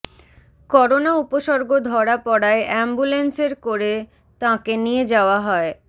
corona উপসর্গ ধরা পড়ায় অ্যাম্বুলেন্সের করে তাঁকে নিয়ে যাওয়া হয়